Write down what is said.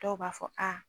Dɔw b'a fɔ a